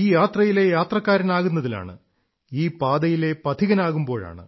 ഈ യാത്രയിലെ യാത്രക്കാരനാകുന്നതിലാണ് ഈ പാതയിലെ പഥികനാകുമ്പോഴാണ്